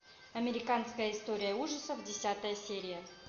американская история ужасов десятая серия